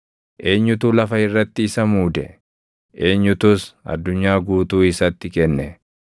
Eenyutu lafa irratti isa muude? Eenyutus addunyaa guutuu isatti kenne?